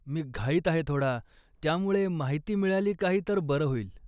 मी घाईत आहे थोडा, त्यामुळे माहिती मिळाली काही तर बरं होईल